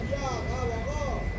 Şişdi ha, qaqa!